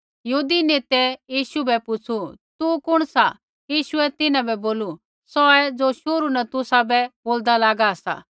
यहूदी नेतै यीशु बै पुछ़ू तू कुण सा यीशुऐ तिन्हां बै बोलू सौहै ज़ो शुरू न तुसाबै बोलदा लागा सा